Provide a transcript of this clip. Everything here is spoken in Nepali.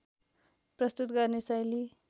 प्रस्तुत गर्ने शैली